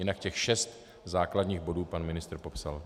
Jinak těch šest základních bodů pan ministr popsal.